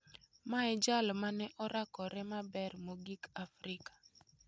Ma e jal mane orakore maber mogik Afrika?